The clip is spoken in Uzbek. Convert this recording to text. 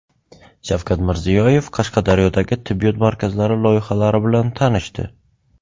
Shavkat Mirziyoyev Qashqadaryodagi tibbiyot markazlari loyihalari bilan tanishdi.